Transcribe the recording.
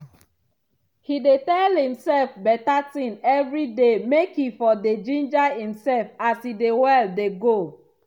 he dey tell imself better thing everyday make e for dey ginger imself as e dey well dey go.